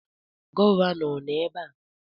Gọvanọ nọ ebe a?